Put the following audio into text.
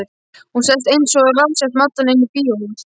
Hún sest einsog ráðsett maddama inní bíóhús.